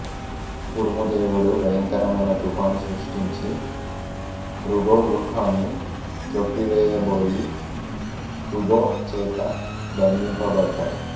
ఉరుము దేవుడు భయంకరమైన తుఫాను సృష్టించి బుబొ గృహాన్ని త్రొక్కివేయబోయి బుబొ చేత బంధింపబడతాడు